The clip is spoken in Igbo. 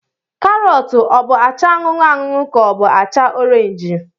Karọt ọ bụ acha anụnụ anụnụ ka ọ bụ acha orenji?